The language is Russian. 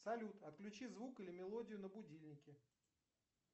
салют отключи звук или мелодию на будильнике